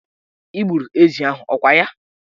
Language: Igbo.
Ị gburu ezi ahụ, ọ kwa ya?